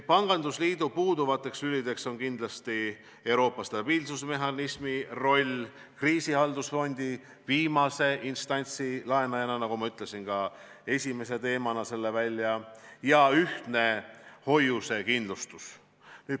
Pangandusliidu puuduvad lülid on kindlasti Euroopa stabiilsusmehhanismi roll kriisilahendusfondile viimase instantsi laenajana – ma ütlesin esimese teemana selle välja – ja ühtne hoiusekindlustus.